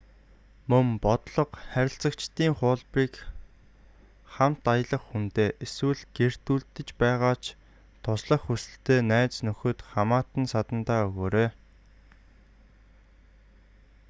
мөн бодлого/харилцагчдын хуулбарыг хамт аялах хүндээ эсвэл гэртээ үлдэж байгаа ч туслах хүсэлтэй найз нөхөд хамаатан садандаа өгөөрэй